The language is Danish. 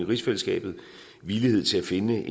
rigsfællesskabet villighed til at finde